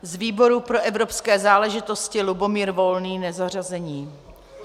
Z výboru pro evropské záležitosti Lubomír Volný, nezařazený.